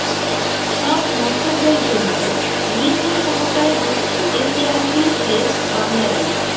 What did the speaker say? সব মন্তব্যের জন্য লিঙ্গ সমতায় দক্ষিণ এশিয়ার শীর্ষে বাংলাদেশ